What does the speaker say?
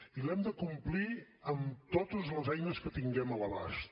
i l’hem de complir amb totes les eines que tinguem a l’abast